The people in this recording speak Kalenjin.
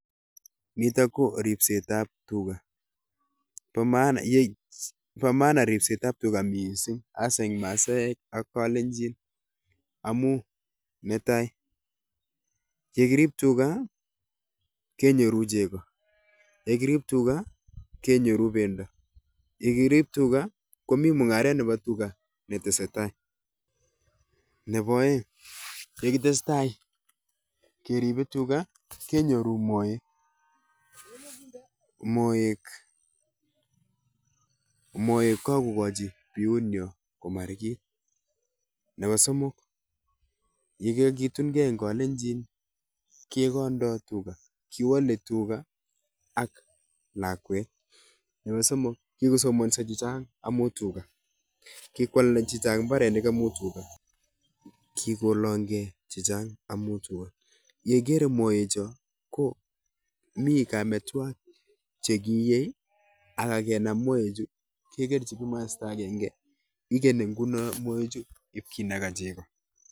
Nitok ko ripsetab tuga. Bo maana bo maana ripsetab tuga missing hasa eng' Masaek ak Kalenjin. Amuu netai, yekirib tuga, kenyoru chego. Yekirib tuga, kenyoru pendo. Yekirib tuga, komii mung'aret nebo tuga netesetai. Nebo aeng', yekitesetai keribe tuga, kenyoru moek. Moek, moek kakogochi biut nyo komarigit. Nebo somok, yekakitunkeiy eng' kalenjin, kegondoi tuga. Kiwale tuga ak lakwet. Nebo somok, kikosomanso chechang' amu tuga. Kikwalda chechang' mbarenik amuu tuga. Kikolangkeiy chechang 'amuu tuga. Ye igere moek cho, ko mii kametwagik che kiiyei, akagenam moek chu kekerchi kimasta agenge. Ikeni nguno moek chu ipkinaka chego